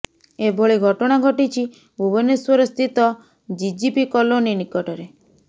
ଏଭଳି ଘଟଣା ଘଟିଛି ଭୁବନେଶ୍ୱର ସ୍ଥିତ ଜିଜିପି କଲୋନୀ ନିକଟରେ